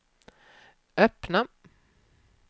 öppna